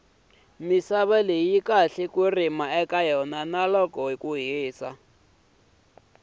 misava yi kahle ku rima eka yona loko uyi hlayisa